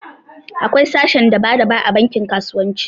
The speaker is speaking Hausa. Akwai sashen daba daba a bankin kasuwanci